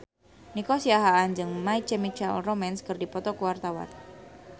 Nico Siahaan jeung My Chemical Romance keur dipoto ku wartawan